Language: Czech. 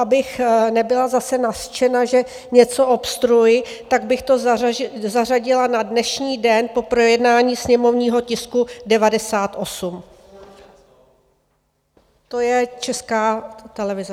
Abych nebyla zase nařčena, že něco obstruuji, tak bych to zařadila na dnešní den po projednání sněmovního tisku 98, to je Česká televize.